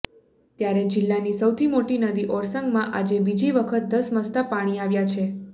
ત્યારે જીલ્લાની સૌથી મોટી નદી ઓરસંગમાં આજે બીજી વખત ધસમસતા પાણી આવ્યા છે